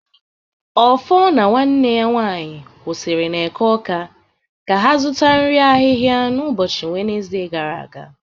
Offor na nwanne ya nwanyị kwụsịrị n'Eke Awka ka ha zụta nri ahịhịa n'ụbọchị Wenezde gara aga